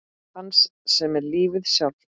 Hans sem er lífið sjálft.